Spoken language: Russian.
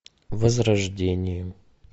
возрождение